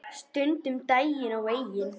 Stundum um daginn og veginn.